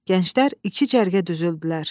Gənclər iki cərgə düzüldülər.